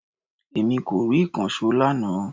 Èmi kò rí ìkànsó lánàá